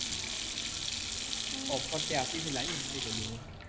offer ଟେ ଆସିଥିଲା ଯେ ନାଇଁ ଗଲି ମୁଇଁ